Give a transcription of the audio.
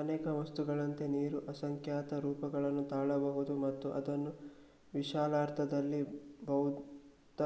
ಅನೇಕ ವಸ್ತುಗಳಂತೆ ನೀರು ಅಸಂಖ್ಯಾತ ರೂಪಗಳನ್ನು ತಾಳಬಹುದು ಮತ್ತು ಅದನ್ನು ವಿಶಾಲಾರ್ಥದಲ್ಲಿ ಭೌತ